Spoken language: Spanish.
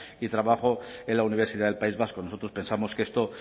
y trabajo en la universidad del país vasco nosotros pensamos que esto